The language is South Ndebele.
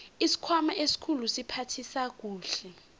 isikhwama esikhulu siphathisa kuhle